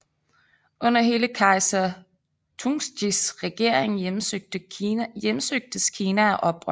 Under hele kejser Tungtsjis regering hjemsøgtes Kina af oprør